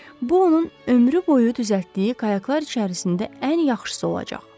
bu onun ömrü boyu düzəltdiyi qayıqlar içərisində ən yaxşısı olacaq.